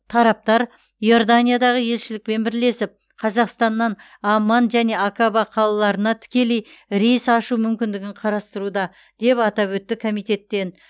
тараптар иорданиядағы елшілікпен бірлесіп қазақстаннан амман және акаба қалаларына тікелей рейс ашу мүмкіндігін қарастыруда деп атап өтті комитеттен